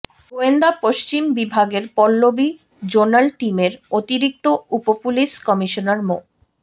গোয়েন্দা পশ্চিম বিভাগের পল্লবী জোনাল টিমের অতিরিক্ত উপপুলিশ কমিশনার মো